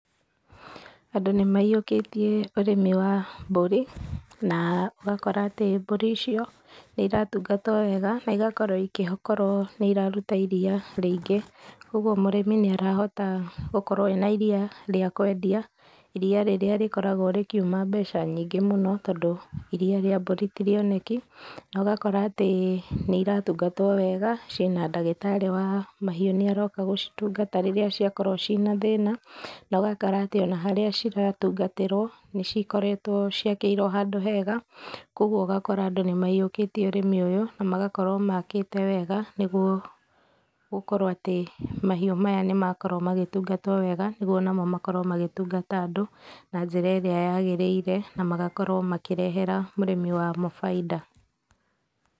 Andũ nĩmaiyũkĩtie ũrĩmi wa mburi na ũgakora atĩ mbũri icio nĩiratungatwo wega na igakorwo igĩkorwo nĩiraruta iria rĩingĩ kwa ũguo mũrĩmi nĩarahota gũkorwo ena iria rĩa kũendia iria rĩrĩa rĩkoragwo rĩkiuma mbeca nyingĩ mũno tondũ iria rĩa mbũri ti rĩoneki na ũgakora atĩ nĩiratungatwo wega cina ndagĩtarĩ wa mahiũ nĩ aroka gũcitungata rĩrĩa ciakorwo ciĩna thĩna na ũgakora atĩ ona harĩa ciratungatĩrwo nĩcikoretwo ciakĩirwo handũ hega kwa ũguo ũgakora andũ nĩmaiyũkĩtĩe ũrĩmi ũyũ na magakorwo makĩte wega nĩgũo gũkorwo atĩ mahiũ maya nĩmakorwo magĩtungatwo wega nĩgũo onamo makorwo magĩtungata andũ na njĩra ĩrĩa yagĩrĩire na magakorwo makĩrehera mũrĩmi wamo bainda.